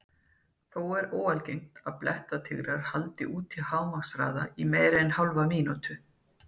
Þó er óalgengt að blettatígrar haldi út á hámarkshraða í meira en hálfa mínútu.